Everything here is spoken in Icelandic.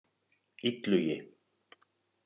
Illugi